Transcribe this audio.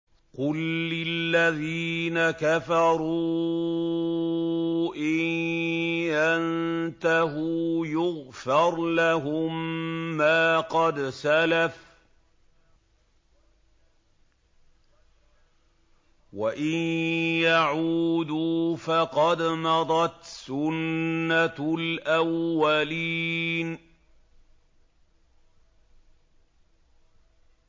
قُل لِّلَّذِينَ كَفَرُوا إِن يَنتَهُوا يُغْفَرْ لَهُم مَّا قَدْ سَلَفَ وَإِن يَعُودُوا فَقَدْ مَضَتْ سُنَّتُ الْأَوَّلِينَ